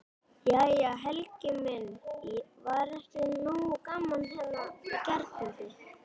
Jæja Helgi minn, var ekki nógu gaman hérna í gærkvöldi?